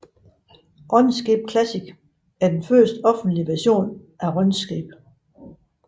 Runescape Classic er det første offentlige version af Runescape